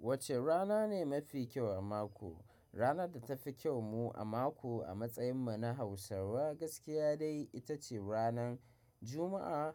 Wacce rana ne mafi kyau a mako? Rana da tafi kyau mu a mako a matsayin mu na Hausawa gaskiya dai ita ce ranan Juma'a